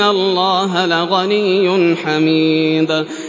اللَّهَ لَغَنِيٌّ حَمِيدٌ